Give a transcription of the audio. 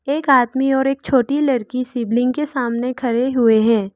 एक आदमी और एक छोटी लड़की शिवलिंग के सामने खड़े हुए हैं।